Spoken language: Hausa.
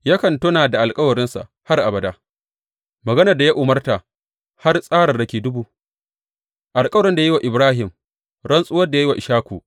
Yakan tuna da alkawarinsa har abada, maganar da ya umarta, har tsararraki dubu, alkawarin da ya yi wa Ibrahim rantsuwar da ya yi ga Ishaku.